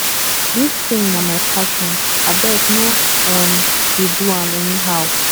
dis thing na my passion abeg no um dey do am anyhow